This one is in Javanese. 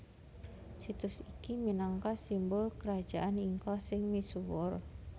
Situs iki minangka simbul Krajaan Inka sing misuwur